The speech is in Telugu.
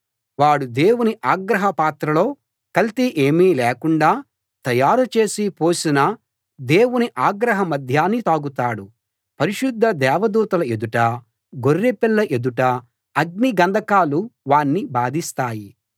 వాడు దేవుని ఆగ్రహ పాత్రలో కల్తీ ఏమీ లేకుండా తయారుచేసి పోసిన దేవుని ఆగ్రహ మద్యాన్ని తాగుతాడు పరిశుద్ధ దేవదూతల ఎదుటా గొర్రెపిల్ల ఎదుటా అగ్ని గంధకాలు వాణ్ణి బాధిస్తాయి